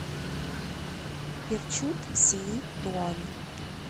перчут сеи туан